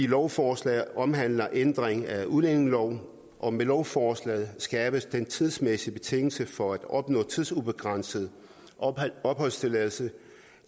lovforslaget omhandler ændring af udlændingelov og med lovforslaget skærpes den tidsmæssige betingelse for at opnå tidsubegrænset opholdstilladelse